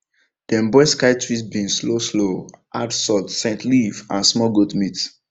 dem boil sky twist beans slow slow add salt scent leaf and small goat meat